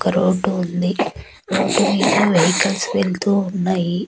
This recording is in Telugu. ఒక రోడ్డు ఉంది రోడ్డు మీద వెహికల్స్ వెళ్తూ ఉన్నాయి.